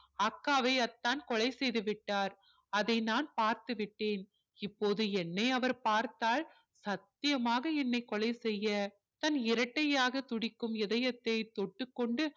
அக்காவை அத்தான் கொலை செய்து விட்டார் அதை நான் பார்த்து விட்டேன் இப்போது என்னை அவர் பார்த்தால் சத்தியமாக என்னை கொலை செய்ய தன் இரட்டையாக துடிக்கும் இதயத்தை தொட்டுக் கொண்டு